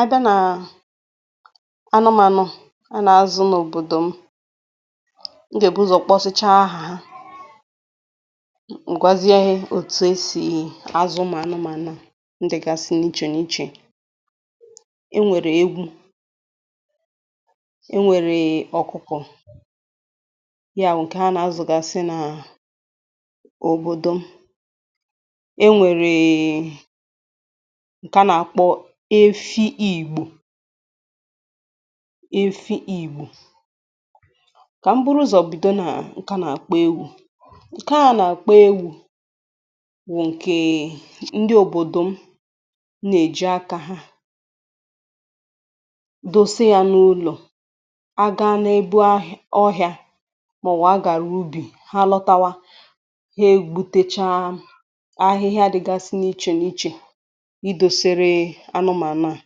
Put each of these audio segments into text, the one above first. A bịa nà anụmanụ̀ a nà-azụ̀ n’òbòdò m, m gà-èbuzò kpọsịchaa aha ha, ǹgwazie otù esì azụ̀ anụmànụ̀ a ǹdègàsị̀ n’ichè n’ichè e nwèrè ewu̇, e nwèrè ọ̀kụkụ̀, ya wù nkè a nà-azụ̀gàsị̀ nà òbòdò m, e nwèrè ǹkà nà-àkpọ efi ìgbò, efi ìgbò, kà m bụrụ ụ̀zọ̀ bido nà nke anà-àkpọ ewu̇, ǹkà nà-àkpọ ewu̇ bụ̀ ǹkè ndị òbòdò m nà-èji akȧ ha dosi yȧ n’ụlọ̀ a gaa n’ebu ọhịà màọ̀wụ̀ a gàrà ubì ha lọtawa ha egbutechaa ahịhịa àdịgasị n’ịchè n’ịchè ịdoséré anụmanụ a,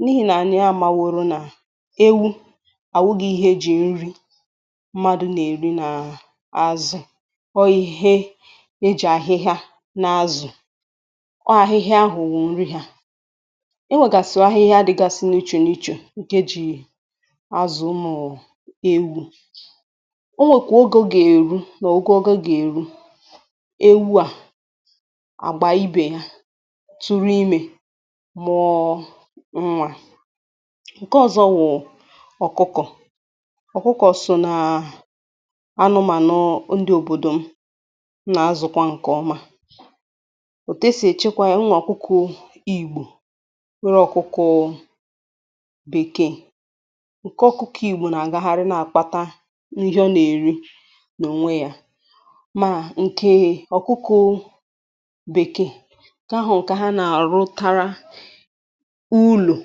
n’ihì nà ànyị àmà wọrọ nà ewu àwụghi ihe ejì nri̇ mmadụ̀ nà-èri nà azụ̀, ọ ihe ejì àhịhịa n’azụ̀ ọ àhịhịa hụ wụ nri yȧ, enwègàsì àhịhịa dịgasị n’iche n’iche ǹke jì azụ̀ ụ̀mụ̀ ewu̇, o nwèkwà oge ogà-èru nà ogȯ ogȯ gà-èru ewu à àgbà ibè ya, turu ime mụọ̇ nwà, nke ọ̀zọ wụ̀ ọ̀kụkọ̀, ọ̀kụkọ sò nà anụmànụ ndi òbòdò m nà azụ̇kwa nkè ọma, òtesì èchekwa yȧ nwȧ ọ̀kụkụ igbò nwere ọ̀kụkụ bèkee, nke ọ̀kụkọ̇ igbò nà-àgagharị na-akpata n’ihe ọ nà-èri nà òwe yȧ, mà nke ọ̀kụkụ bekee, nkè ahu kà ha na alutara ụlọ̀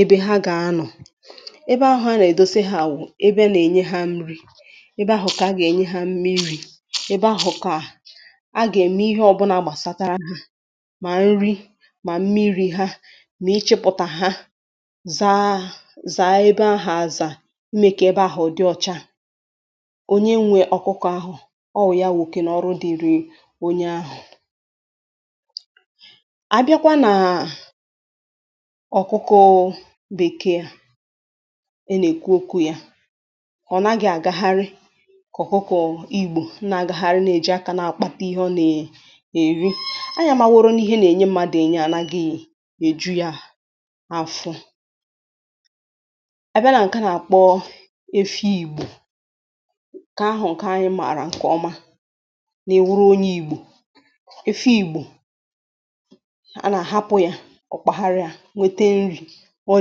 ebe ha gà-anọ̀ ebe ahụ̀ a nà-èdoseghà wụ̀ ebe a nà-ènye ha nri ebe ahụ̀ kà a gà-ènye ha mmiri̇ ebe ahụ̀ kà a gà-ème ihe ọ̀bụlà gbàsatara hȧ mà nri mà mmiri̇ ha nà-ichịpụ̀tà ha zaa zàa ebe ahụ̀ àzà mmekà ebe ahụ̀ dị ọcha, onye nwė ọkụkọ̀ ahụ̀ ọ wụ̀ ya wụ̀ oke nà ọrụ dịrị onye ahụ̀. Abiakwa na ọ̀kụkọ̀ bekee a ị nà-èkwu okwu ya, ọ̀ naghị̀ àgagharị kà ọ̀kụkọ̀ igbò nà-àgagharị nà-èji akȧ nà-àkpata ihe ọ nà-èri, anya mà nwọrọ n’ihe nà-ènye mmadụ̀ ènyè ànaghị̀ èju ya afọ̇, à àbịa nà ǹke nà-àkpọ efi igbò, kà ahụ̀ ǹke anyị mààrà nkè ọma, mà-iwuru onye igbò, efi igbo, ana ahapụ ya ọkpaharia nwete nri̇ ọ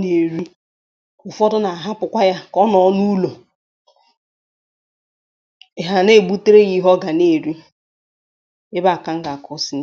nà-èri, ụ̀fọdụ nà-àhapụ̀kwa yȧ kà ọ nọọlụ n'ụlọ̀, èhà na-èbutere yȧ ihe ọ gà na-èri, ebe kà m gà-àkwusị.